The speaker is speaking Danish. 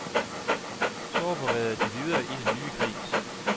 Så opererede de videre i den nye kreds.